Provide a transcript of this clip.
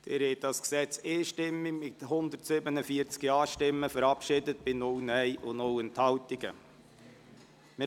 Sie haben dieses Gesetz einstimmig, mit 147 Ja- bei 0 Nein-Stimmen und 0 Enthaltungen, verabschiedet.